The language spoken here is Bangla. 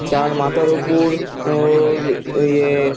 তার মাথার উপর ওর এ।